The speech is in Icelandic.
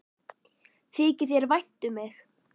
Þykir þér þá vænt um mig?